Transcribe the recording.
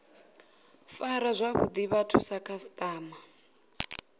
fara zwavhuḓi vhathu sa khasiṱama